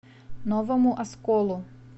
новому осколу